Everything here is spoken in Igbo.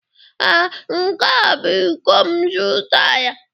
Ee, nke a bụ iko m zụtara.